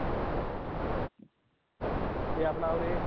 ਤੇ ਆਪਣਾ ਉਰੇ,